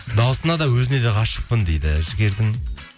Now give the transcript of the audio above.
дауысына да өзіне де ғашықпын дейді жігердің